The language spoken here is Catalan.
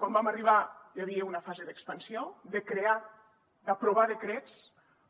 quan vam arribar hi havia una fase d’expansió de crear d’aprovar decrets